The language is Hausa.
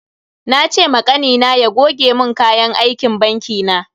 Na ce ma Kanina ya goge mun kayan aikin banki na.